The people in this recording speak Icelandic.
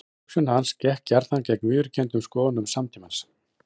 Hugsun hans gekk gjarnan gegn viðurkenndum skoðunum samtímans.